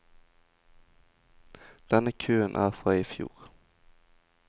Denne køen er fra i fjor.